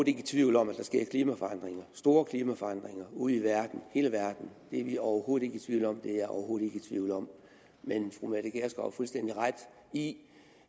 ikke i tvivl om at der sker klimaforandringer store klimaforandringer ude i verden i hele verden det er vi overhovedet ikke i tvivl om og det er jeg overhovedet ikke i tvivl om fru mette gjerskov har fuldstændig ret i